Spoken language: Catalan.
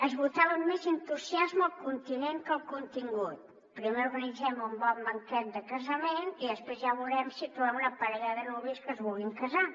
es votava amb més entusiasme el continent que el contingut primer organitzem un bon banquet de casament i després ja veurem si trobem una parella de nuvis que es vulguin casar